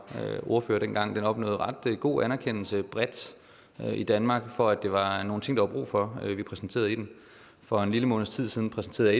ordfører dengang ret god anerkendelse bredt i danmark for at det var nogle ting der var brug for vi præsenterede i den for en lille måneds tid siden præsenterede